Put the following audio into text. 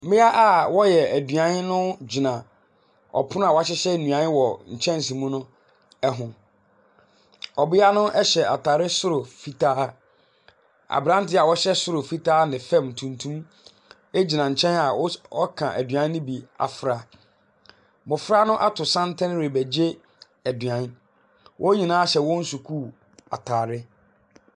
Mmea a wɔreyɛ aduan no gyina ɔpono a wɔahyehyɛ nnuan wɔ nkyɛnse mu ho. Ɔbea no hyɛ ataare soro fitaa. Aberante a ɔhyɛ soro fitaa ne fam tuntum gyina nkyɛn a ɔres ɔreka aduan ne bi afra. Mmɔfra no ato santene rebɛgye aduan, wɔn nyinaa hyɛ hɔn sukuu ataare.